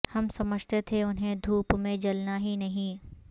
ہم سمجھتے تھے انہیں دھوپ میں جلنا ہی نہیں